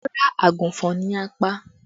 Rárá, àgùnfọn ni a pa